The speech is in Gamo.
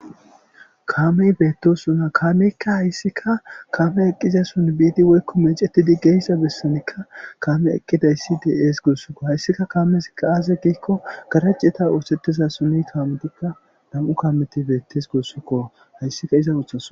kaamey beettosuna kaameykka hayssika kaame eqqiza son biidi woykko meecetidi geyssa bessenikka kaame eqqidayssi de7ees gurssukko hayssika kaamesikka aaze giikko garaceta oosettiza sunni kaametikka dam7u kaameti beettes gurssukko hayssika iza uthas